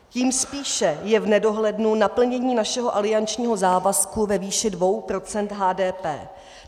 Tím spíše je v nedohlednu naplnění našeho aliančního závazku ve výši 2 procent HDP.